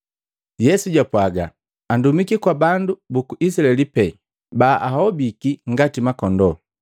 Yesu jwapwaga, “Andumiki kwa bandu buku Izilaeli pee baahobiki ngati makondoo.”